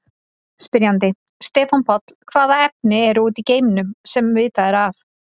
Spyrjandi: Stefán Páll Hvaða efni eru úti í geimnum, sem vitað er af?